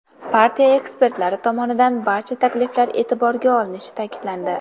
Partiya ekspertlari tomonidan barcha takliflar e’tiborga olinishi ta’kidlandi.